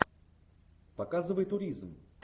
показывай туризм